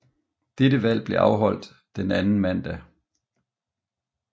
Dette valg blev afholdt den anden mandag